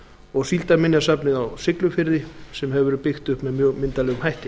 og síldarminjasafnið á siglufirði sem hefur verið byggt upp með mjög myndarlegum hætti